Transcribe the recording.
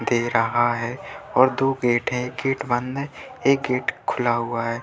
दे रहा है और दो गेट है। गेट बंध है। एक गेट खुला हुआ है।